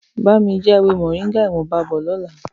Bá mi já ewé Moringa ìwọ̀nba bọ̀ lọ́la.